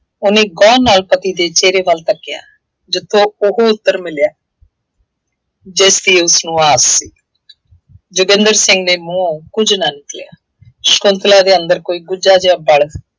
ਉਹਨੇ ਗਹੁ ਨਾਲ ਪਤੀ ਦੇ ਚਿਹਰੇ ਵੱਲ ਤੱਕਿਆ। ਜਿੱਥੋਂ ਉਹ ਉੱਤਰ ਮਿਲਿਆ ਜਿਸਦੀ ਉਸਨੂੰ ਆਸ ਸੀ। ਜੋਗਿੰਦਰ ਸਿੰਘ ਦੇ ਮੂੰਹੋਂ ਕੁੱਝ ਨਾ ਨਿਕਲਿਆ। ਸ਼ੰਕੁਤਲਾ ਦੇ ਅੰਦਰ ਕੋਈ ਗੁੱਝਾ ਜਿਹਾ ਵਲ